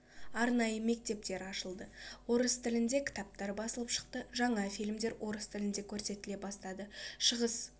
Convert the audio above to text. арнайы мектептер ашылды орыс тілінде кітаптар басылып шықты жаңа фильмдер орыс тілінде көрсетіле бастады шығыс